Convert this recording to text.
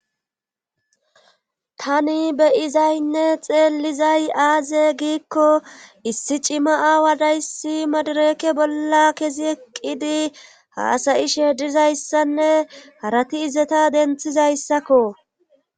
tani beyizaynne xeellizay aaze giikko issi cima aawa dayssi madareke bolla kesi eqqidi haasayi sheedizayssanne harati izeta denthizayssakko